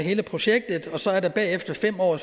hele projektet og så er der bagefter fem år